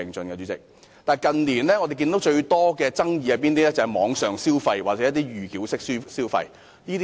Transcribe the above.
然而，近年發生最多的爭議，就是網上消費或預繳式消費。